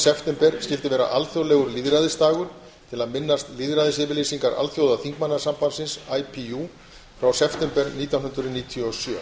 september skyldi vera alþjóðlegur lýðræðisdagur til að minnast lýðræðisyfirlýsingar alþjóðaþingmannasambandsins ipu frá september nítján hundruð níutíu og sjö